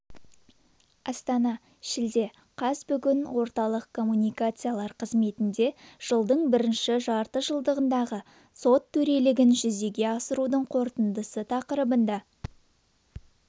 астана шілде қаз бүгін орталық коммуникациялар қызметінде жылдың бірінші жартыжылдығындағы сот төрелігін жүзеге асырудың қорытындысы тақырыбында